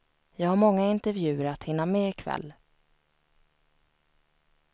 Jag har många intervjuer att hinna med i kväll.